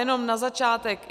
Jenom na začátek.